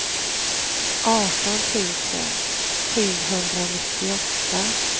arton tusen sjuhundranittioåtta